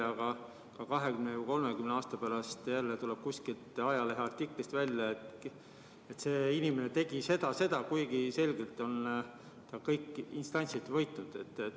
Aga 20 või 30 aasta pärast tuleb kuskilt ajaleheartiklist välja, et see inimene tegi seda ja seda, kuigi ta on selgelt kõik instantsid võitnud.